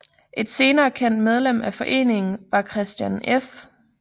Et senere kendt medlem af foreningen var Christian F